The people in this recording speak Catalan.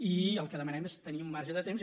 i el que demanem és tenir un marge de temps